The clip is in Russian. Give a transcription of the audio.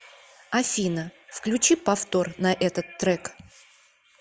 афина включи повтор на этот трек